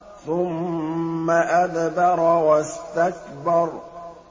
ثُمَّ أَدْبَرَ وَاسْتَكْبَرَ